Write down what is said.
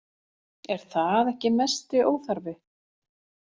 Er það ekki mesti óþarfi?